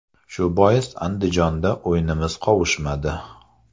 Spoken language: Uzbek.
Shu bois Andijonda o‘yinimiz qovushmadi.